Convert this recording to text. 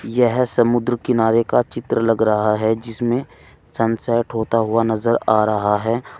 यह समुद्र किनारे का चित्र लग रहा है जिसमें सनसेट होता हुआ नजर आ रहा है।